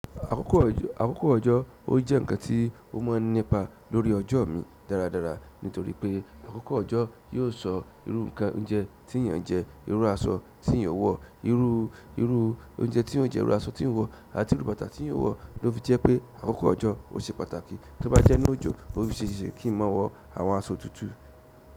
Àkókò ojói ó jẹ́ nǹkan tí o máa n nípa lórí ọjọ́ ò mi dáradára nítorí pé àkókò ọjọ́ yóò sọ irú nǹkan oúnjẹ tí èyàn jẹ, irú aṣọ tí èyàn wò, irú, irú oúnjẹ tí èyàn jẹ́, irú aṣọ tí èyàn wò, àti irú bàtà tí èyàn ó wò ló fi jẹ́ pé àkókò ọjọ́ ó ṣe pàtàkì. Tí ó bá jẹ́ 'nú òjò, ó ṣe é ṣe kí n máa wọ àwọn aṣọ òtútù.